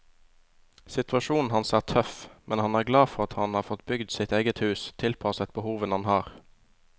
Situasjonen hans er tøff, men han er glad for at han har fått bygd sitt eget hus, tilpasset behovene han har.